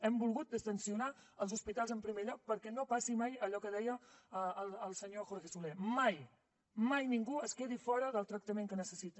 hem volgut distendre els hospitals en primer lloc perquè no passi mai allò que deia el senyor jorge soler que mai mai ningú es quedi fora del tractament que necessita